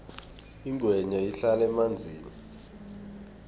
ingwenya ihlala emanzini